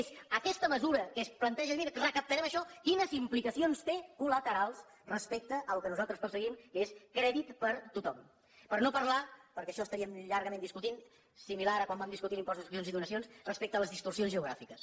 és aquesta mesura que es planteja dient miri recaptarem això quines implicacions té col·laterals respecte al que nosaltres perseguim que és crèdit per a tothom per no parlar perquè això ho estaríem llargament discutint similar a quan vam discutir l’impost de successions i donacions respecte a les distorsions geogràfiques